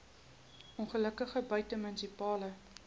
ongelukke buite munisipale